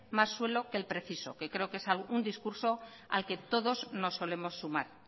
más suelo que el preciso que creo que es un discurso al que todos nos solemos sumar